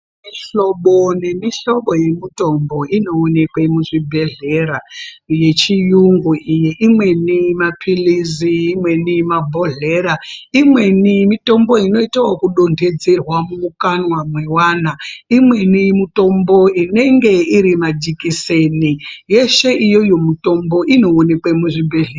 Mihlobo nemihlobo yemutombo inowonekwe muzvibhehlera yechiyungu iyi imweni mapilizi imweni mabhohlera imweni mitombo inoita ekudondedzerwa mumukanwa mewana imweni mutombo inenge iri majikiseni yeshe iyoyo mutombo inoonekwe muzvibhehlera